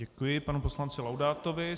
Děkuji panu poslanci Laudátovi.